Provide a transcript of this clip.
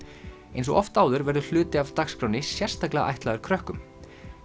eins og oft áður verður hluti af dagskránni sérstaklega ætlaður krökkum